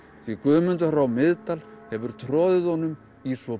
því Guðmundur frá Miðdal hefur troðið honum í svo